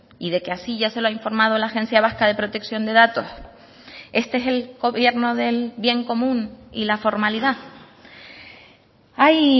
y de que así ya se lo ha informado la agencia vasca de protección de datos este es el gobierno del bien común y la formalidad hay